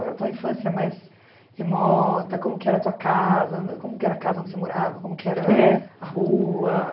A sta infância mais remota, como que era a tua casa, como que era a casa onde você morava, como que era a rua?